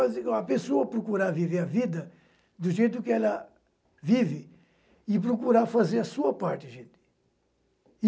A pessoa procurar viver a vida do jeito que ela vive e procurar fazer a sua parte, gente.